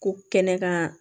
Ko kɛnɛ kan